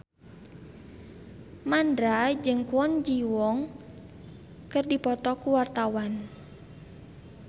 Mandra jeung Kwon Ji Yong keur dipoto ku wartawan